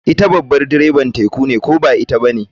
Ita babar direbar teku ne ko ba ita bane.